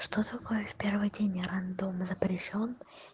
что такое в первый день я рандомно запрещён